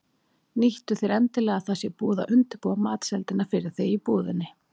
Nýttu þér endilega að það sé búið að undirbúa matseldina fyrir þig í búðinni.